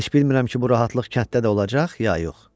Heç bilmirəm ki bu rahatlıq kətdə də olacaq, ya yox.